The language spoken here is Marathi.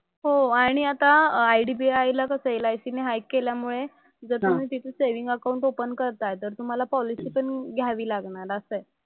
हो आणि आता IDBI ला कसं LIC ने हाईक केल्यामुळे जर तुम्ही तिथे सेव्हिन्ग अकाउंट ओपन करतात तर तुम्हाला पॉलिसी पण घ्यावी लागणार असं आहे.